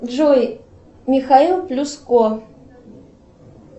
джой михаил плюс ко